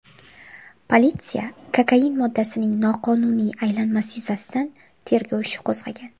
Politsiya kokain moddasining noqonuniy aylanmasi yuzasidan tergov ishi qo‘zg‘agan.